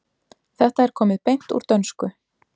Þetta er komið beint úr dönsku.